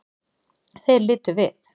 Þeir litu við.